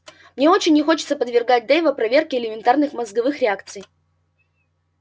мне очень не хочется подвергать дейва проверке элементарных мозговых реакций